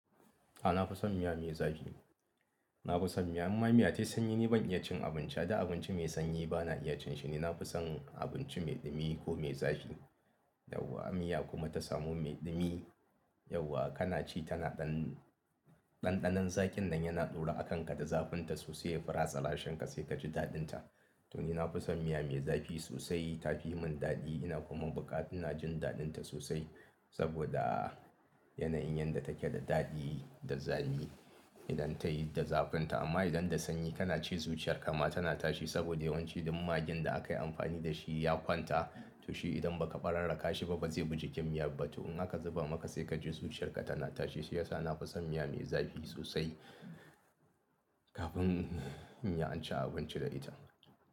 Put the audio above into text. A'a na fi son miya mai zafi. Na fi son miya, imma miya ta sanyi ni ban iya cin abinci da abinci mai sanyi ba, na iya cin shi ne na fi son abinci mai ɗumi ko mai zafi. Yawwa miya kuma ta samu mai ɗumi, yauwa kana ci tana ɗan-- ɗanɗanon zakin nan yana taro a kanka da zafinta sosai ya fi ratsa rashin ka sai ka ji daɗinta. To ni na fi son miya mai zafi sosai, ta fi yi min daɗi. Ina kuma bukata, ina jin daɗinta sosai saboda yanayin yadda take da daɗi da zafi idan tayi da zafinta. Amma idan da sanyi kana ci zuciyarka ma tana tashi saboda yawanci duk maggin da aka yi amfani da shi ya kwanta. To shi idan ba ka ɓararra ka shi ba bazai buji kicin miyar ba. To in aka zuba maka sai ka ji zuciyarka tana tashi shiyasa na fi son miya mai zafi sosai kafin in ya an ci abinci da ita.